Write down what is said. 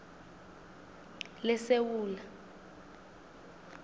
lesewula